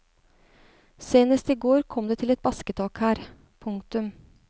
Senest i går kom det til et basketak her. punktum